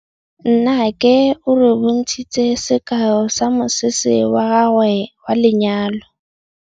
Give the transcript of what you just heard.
Nnake o re bontshitse sekaô sa mosese wa gagwe wa lenyalo.